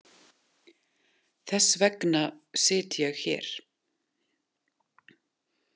Þess vegna sit ég hér.